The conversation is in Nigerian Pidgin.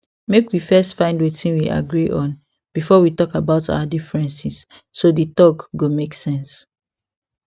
make we first find wetin we agree on before we talk about our differences so the talk go make sense